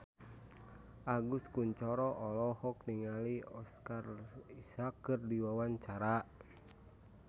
Agus Kuncoro olohok ningali Oscar Isaac keur diwawancara